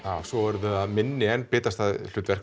svo eru það minni en bitastæð hlutverk